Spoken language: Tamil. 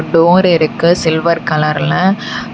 டோர் இருக்கு சில்வர் கலர்ல .